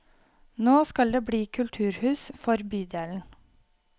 Nå skal det bli kulturhus for bydelen.